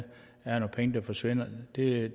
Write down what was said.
det